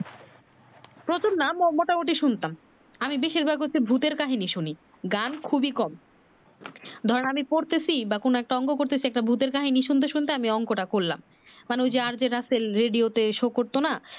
প্রচুর না মোটামুটি শুনতাম আমি বেশির ভাগ হচ্ছে ভুতের কাহিনী শুনি গান খুবি কম ধর আমি পড়তেছি বা কোন একটা অংক করতেছি একটা ভুতের কাহিনী শুনতে শুনতে অংক টা করলাম মানে ঐ যে RJ রাসেল রেডিও তে show করতো না